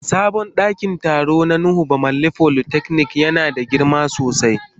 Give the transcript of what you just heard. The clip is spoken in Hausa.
Sabon dakin taro na nuhu bamalli polytechnic yana da girma sosai.